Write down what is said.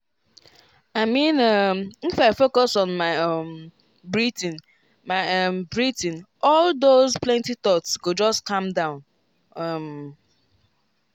i mean um if i focus on my um breathing my um breathing all those plenty thoughts go just calm down. um